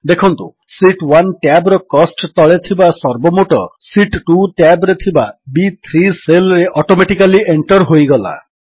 ଦେଖନ୍ତୁ sheet 1 tab ର କୋଷ୍ଟ ତଳେ ଥିବା ସର୍ବୋମୋଟ ଶୀତ୍ 2 ଟ୍ୟାବ୍ ରେ ଥିବା ବି3 ସେଲ୍ ରେ ଅଟୋମେଟିକାଲ୍ ଏଣ୍ଟର୍ ହୋଇଗଲା